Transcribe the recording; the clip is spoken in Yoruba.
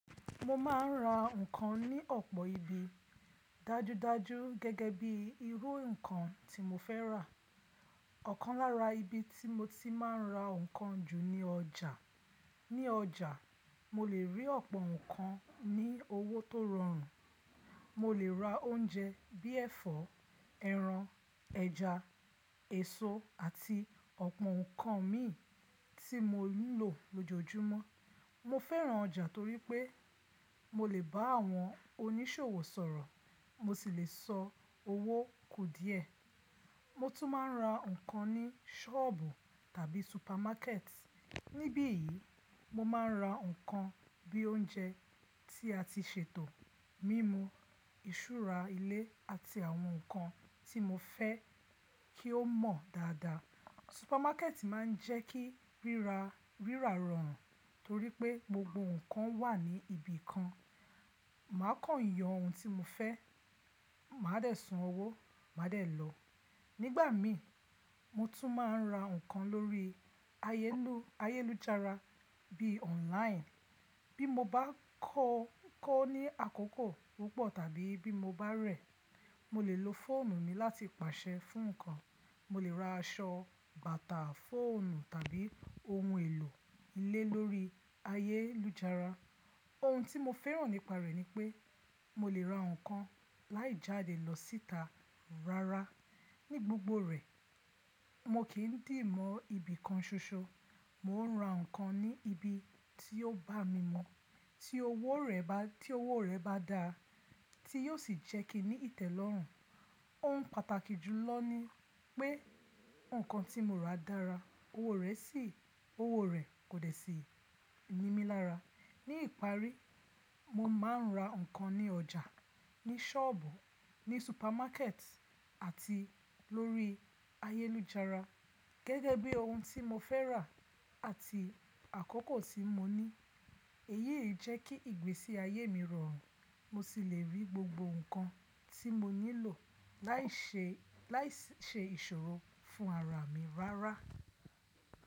Mo ma n ra nǹkan ní ọ̀pọ̀ ibi. Dájúdájú gẹ́gẹ́ bí irú nǹkan tí mo fẹ́ rà. Ọ̀kan lára ibi tí mo ti máa ń ra nǹkan jù ni ọjà. Ní ọjà, mo lè rí ọ̀pọ̀ nǹkan ní owó tó rọrùn. Mo lè ra oúnjẹ bí ẹ̀fọ́, ẹran, ẹja, èso àti ọ̀pọ̀ nǹkan mii tí mo nílò lójoojúmọ́. Mo fẹ́ràn ọjà torí pé mo lè bá àwọn oníṣòwò sọ̀rọ̀, mo sì lè sọ owó kù díẹ̀. Mo tún máa ń ra nǹkan ní sọ́ọ̀bù tàbí súpámákẹ̀tì. Nibiyi, mo ma ń ra nǹkan bí i oúnjẹ tí a ti sè tò, mímú, ìṣúra ilé àti àwọn nǹkan tí mo fẹ́ kí ó mọ̀ dáadáa. Súpámákẹ̀tì máa ń jẹ́ kí rírà rọrùn torí pé gbogbo nǹkan wà ní ibi kan. Màá kọ̀nyàn ohun tí mo fẹ́, màá dé san owó, màá dé lọ. Nígbà mi, mo tún máa ń ra nǹkan lórí ayélujára bí i online. Bí mo bá kọ́ ní àkókò púpọ̀ tàbí bí mo bá rẹ̀, mo lè lo fóònù mi láti pàṣẹ fún nǹkan. Mo lè ra aṣọ, bàtà, fóònù tàbí ohun èlò ilé lórí ayélujára. Ohun tí mo fẹ́ràn nípa rẹ̀ ni pé mo lè ra nǹkan láì jáde lọ síta rárá. Ní gbogbo rẹ̀, mo kì í dì mọ́ ibi kan ṣoṣo. Mo ń ra nǹkan ní ibi tí ó bá mi mọ̀, tí owó rẹ̀ bá dáa tí yóò sì jẹ́ kí ní ìtẹ́lọ́rùn. Ohun pàtàkì jù lọ ni pé nǹkan tí mo rà dára, owó rẹ̀ kò dẹ̀ sí nímí lára. Ní ìparí, mo máa ń ra nǹkan ní ọjà, ní sọ́ọ̀bù, ní súpámákẹ̀tì àti lórí ayélujára gẹ́gẹ́ bí ohun tí mo fẹ́ rà àti àkókò tí mo ní. Èyí yé jẹ́ kí ìgbésí ayé mi rọrùn, mo sì lè rí gbogbo nǹkan tí mo nílò láìṣe ìṣòro fún ara mi rárá.